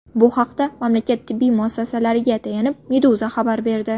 Bu haqda mamlakat tibbiy muassasalariga tayanib, Meduza xabar berdi .